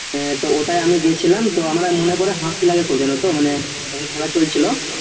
হ্যাঁ ওটাই আমি গেছিলাম তো আমি মনে করে হাসছিলাম খুব জানো তো মানে যখন খেলা চলছিল